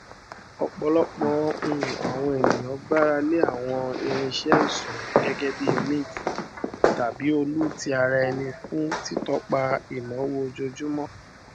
ọpọlọpọ um àwọn ènìyàn gbára lé àwọn irinṣẹ iṣúná gẹgẹ bí mint tàbí olu tí ara ẹni fún títọpa ináwó ojoojúmọ